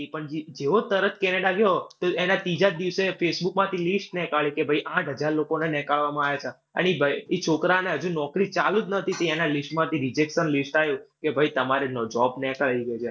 ઈ પણ જી, જેવો તરત Canada ગયો તો એના ત્રીજા જ દિવસે facebook માંથી list નેકાળી. કે ભાઈ આઠ હજાર લોકોને નેકાળવામાં આયા તા. અને ઈ ભૈ ઈ છોકરાને હજુ નોકરી ચાલું જ નતી થઈ એને list માંથી rejection list આયુ કે ભાઈ તમારે job નેકાળી છે.